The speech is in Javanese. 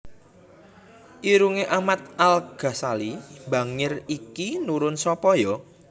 Irunge Ahmad Al Ghazali mbangir iki nurun sopo yo